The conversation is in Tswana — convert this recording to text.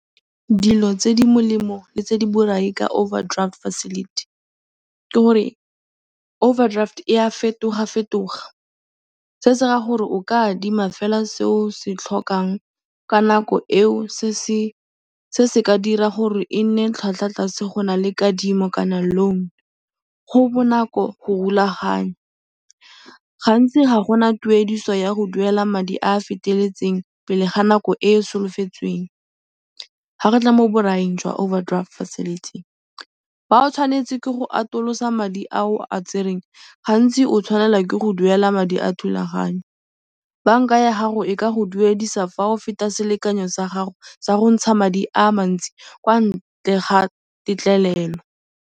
Dilo tse di molemo le tse di borai ka overdraft facility ke gore overdraft e a fetogafetoga, se se raya gore o ka adima fela se o se tlhokang ka nako eo se se ka dira gore e nne tlhwatlhwatlase go na le kadimo kana loan. Go bonako go rulaganya. Gantsi ga go na tuediso ya go duela madi a a feteletseng pele ga nako e e solofetsweng fa re tla mo boraing jwa overdraft facility. Fa o tshwanetse ke go atolosa madi a o a tsereng, ga ntsi o tshwanela ke go duela madi a thulaganyo. Banka ya gago e ka go duedisa fa o feta selekanyo sa gago sa go ntsha madi a a mantsi kwa ntle ga tetlelelo.